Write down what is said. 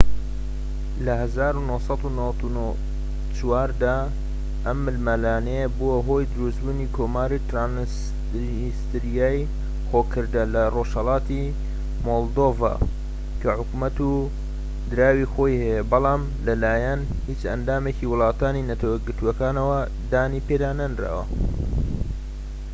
لە ١٩٩٤ دا ئەم ململانێیە بووە هۆی دروستبوونی کۆماری ترانسنیستریای خۆ کردە لە رۆژهەلاتی مۆلدۆڤا کە حکومەت و دراوی خۆی هەیە بەڵام لەلایەن هیچ ئەندامێکی وڵاتانی نەتەوە یەکگرتوەکانەوە دانیپێدا نەنراوە